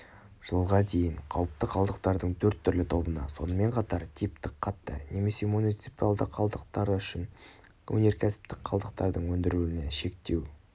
жылға дейін қауіпті қалдықтардың төрт түрлі тобына сонымен қатар типтік қатты немесе муниципиалды қалдықтары үшін өнеркәсіптік қалдықтардың өндірілуіне шектеу